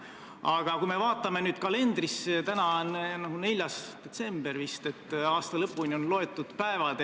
Aga kui me vaatame nüüd kalendrisse, siis näeme, et täna on 4. detsember, st aasta lõpuni on vaid mõned päevad.